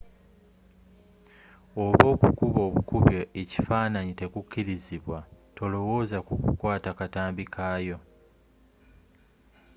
oba okukuba obukubi ekifananyi tekukkirizibwa tolowooza ku kukwata katambi kaakyo